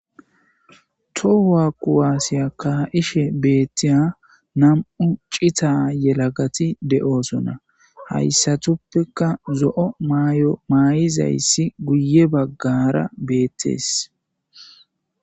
Toho kuwase ka'ishe betiya nam'u cita yelagati de'osona haysatupeka zo'o mayo mayizaysi guye bagara betes